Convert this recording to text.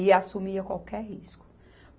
E assumia qualquer risco.